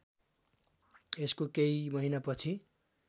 यसको केही महिनापछि